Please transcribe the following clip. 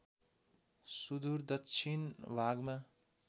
सुदूर दक्षिण भागमा